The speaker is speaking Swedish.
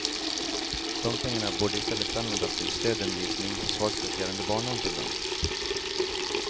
De pengarna borde i stället användas till stödundervisning för svagpresterande barn, ansåg de.